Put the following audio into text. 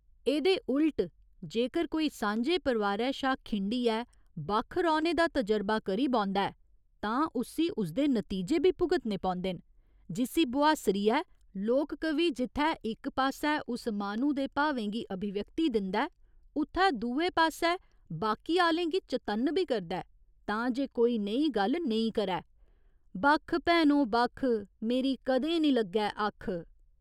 एह्दे उल्ट जेकर कोई सांझे परिवारै शा खिंडियै बक्ख रौह्‌ने दा तजरबा करी बौंह्दा ऐ तां उस्सी उसदे नतीजे बी भुगतने पौंदे न, जिस्सी बोहास्सरियै लोक कवि जित्थै इक पास्सै उस माह्‌नू दे भावें गी अभिव्यक्ति दिंदा ऐ उत्थै दुए पास्सै बाकी आह्‌लें गी चतन्न बी करदा ऐ तां जे कोई नेही गल्ल नेईं करै बक्ख भैनो बक्ख, मेरी कदें निं लग्गै अक्ख।